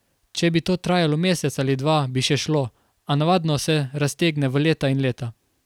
Če bi to trajalo mesec ali dva bi še šlo, a navadno se raztegne v leta in leta.